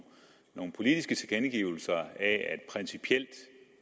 nogle politiske tilkendegivelser af at principielt